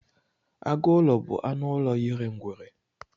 Agụlọ bụ anụ ụlọ yiri ngwere.